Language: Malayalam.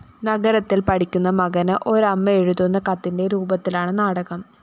നഗരത്തില്‍ പഠിക്കുന്ന മകന് ഒരമ്മ എഴുതുന്ന കത്തിന്റെ രൂപത്തിലാണ് നാടകം